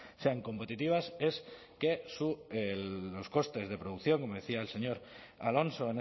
sean competitivas es que los costes de producción como decía el señor alonso